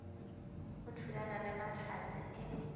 o thulana le mahlatse e